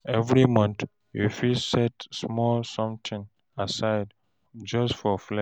Evri month, yu fit try set small somtin aside just for flex.